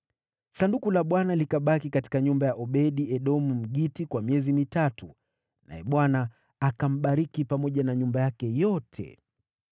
Sanduku la Bwana likabaki katika nyumba ya Obed-Edomu, Mgiti, kwa miezi mitatu, naye Bwana akambariki pamoja na nyumba yake yote.